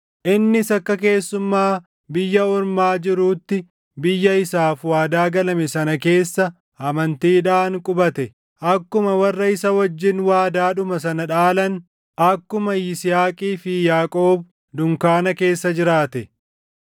Innis akka keessummaa biyya ormaa jiruutti biyya isaaf waadaa galame sana keessa amantiidhaan qubate; akkuma warra isa wajjin waadaadhuma sana dhaalan, akkuma Yisihaaqii fi Yaaqoob dunkaana keessa jiraate.